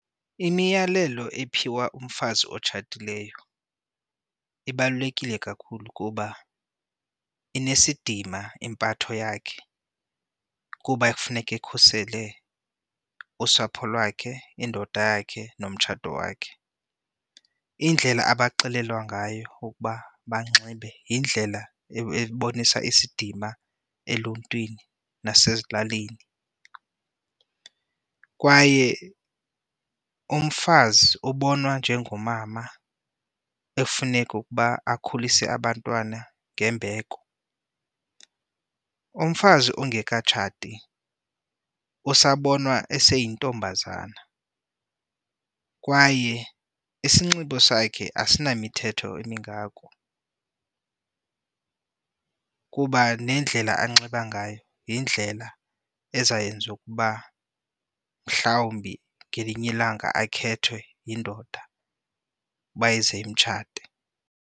Imiyalelo ephiwa umfazi otshatileyo ibalulekile kakhulu kuba inesidima impatho yakhe kuba ekufuneka ekhusele usapho lwakhe, indoda yakhe, nomtshato wakhe. Indlela abaxelelwa ngayo ukuba banxibe yindlela ebonisa isidima eluntwini nasezilalini kwaye umfazi ubonwa njengomama efuneka ukuba akhulise abantwana ngembeko. Umfazi ongekatshati usabonwa eseyintombazana kwaye isinxibo sakhe asinamithetho imingako kuba nendlela anxiba ngayo yindlela eza yenza ukuba mhlawumbi ngelinye ilanga akhethwe yindoda uba ize imtshate.